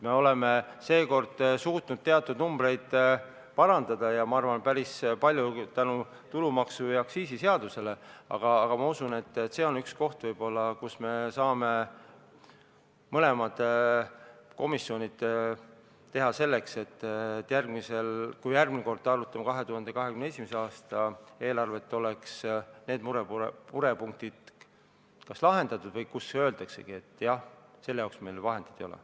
Me oleme seekord suutnud teatud numbreid parandada ja ma arvan, et seda päris palju tänu tulumaksu- ja aktsiisiseadusele, aga ma usun, et see võib olla üks koht, kus komisjonid saavad teha midagi selleks, et kui me arutame 2021. aasta eelarvet, siis oleksid need murepunktid kas lahendatud või siis öeldaksegi, et jah, selle jaoks meil vahendeid ei ole.